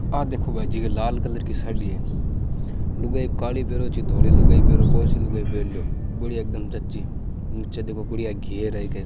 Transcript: आ देखो भाईजी लाल कलर कि साड़ी है लुगाई काली पहरो चाहे धोरी लुगाई पहरों कोनसी लुगाई पहारो तो ही एकदम सच्ची नीचे देखो बड़िया घेर है इक।